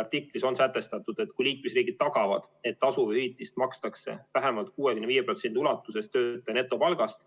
Artiklis on sätestatud, et kui liikmesriigid tagavad, et tasu hüvitist makstakse vähemalt 65% ulatuses töötaja netopalgast